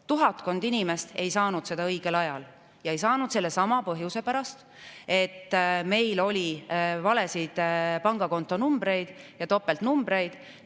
Tuhatkond inimest ei saanud seda õigel ajal ja ei saanud sellelsamal põhjusel, et oli valesid kontonumbreid ja topeltnumbreid.